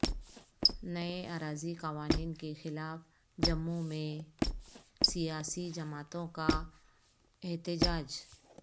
نئے اراضی قوانین کے خلاف جموںمیں سیاسی جماعتوں کا احتجاج